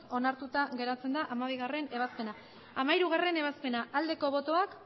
onartuta geratzen da hamabigarrena ebazpena hamairugarrena ebazpena aldeko botoak